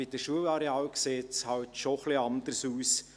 Bei den Schularealen sieht es halt schon etwas anders aus;